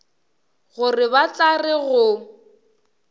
gore ba tla re go